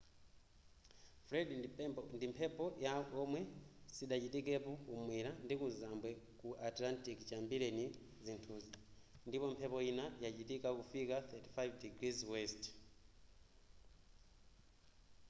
fred ndi mphepo yakuntho yomwe sidachitikepo ku mwera ndi kuzambwe ku atlantic chiyambireni zinthuzi ndipo mphepo yina yachitatu kufika 35◦w